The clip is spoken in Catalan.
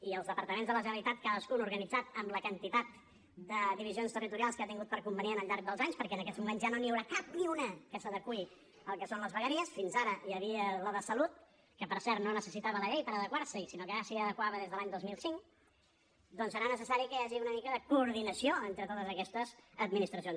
i els departaments de la generalitat cadascun organitzat amb la quantitat de divisions territorials que ha tingut per convenient al llarg dels anys perquè en aquest moments ja no n’hi haurà cap ni una que s’adeqüi al que són les vegueries fins ara hi havia la de salut que per cert no necessitava la llei per adequar s’hi sinó que ja s’hi adequava des de l’any dos mil cinc doncs serà necessari que hi hagi una mica de coordinació entre totes aquestes administracions